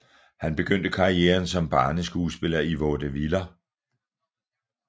Han begyndte karrieren som barneskuespiller i vaudeviller